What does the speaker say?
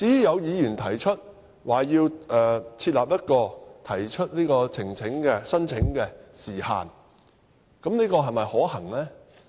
有議員提議設立提出聲請的時限，但這又是否可行呢？